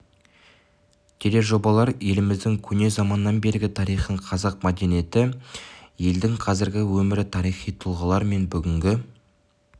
тележобалар еліміздің көне заманнан бергі тарихын қазақ мәдениеті елдің қазіргі өмірі тарихи тұлғалар мен бүгінгі